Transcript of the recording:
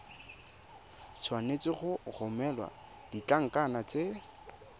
tshwanetse go romela ditlankana tse